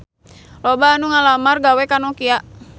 Loba anu ngalamar gawe ka Nokia